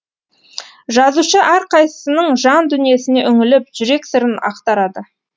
жазушы әрқайсының жан дүниесіне үңіліп жүрек сырын ақтарады